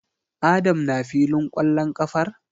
Adam na filin kwallon kafar?